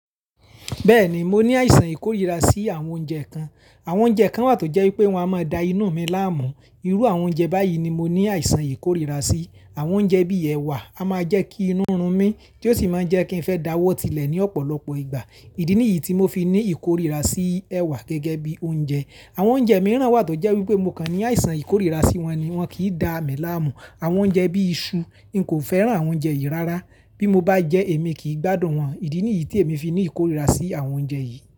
Bẹ́ẹ̀ni, mo ní àìsàn ìkórìíra sí àwọn oúnjẹ kan. Àwọn oúnjẹ kan wà tó jẹ́ wípé wọ́n a máa da inú mi láàmú. Irú àwọn oúnjẹ báyìí ni mo ní àìsàn ìkórìíra sí. Àwọn oúnjẹ bíi ẹ̀wà a máa jẹ́ kí inú run mí, tí ó sì máa jẹ́ kí n fẹ́ dáwọ́ tilẹ̀ ní ọ̀pọ̀lọpọ̀ ìgbà. Ìdí nìyí tí mo fi ní ìkórìíra sí ẹwà gẹ́gẹ́ bí oúnjẹ. Àwọn oúnjẹ mìíràn wà tó jẹ́ wípé mo kàn ní àìsàn ìkórìíra sí wọn ni wọ́n kì í da mí láàmú. Àwọn oúnjẹ bíi iṣu, n kò fẹ́ràn àwọn oúnjẹ yìí rárá. Bí mo bá jẹ èmi kì í gbádùn wọn. Ìdí nìyí tí èmi fi ní ìkórìíra sí àwọn oúnjẹ yìí.